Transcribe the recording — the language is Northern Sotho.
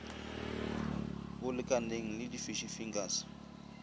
bolekaneng le di fish fingers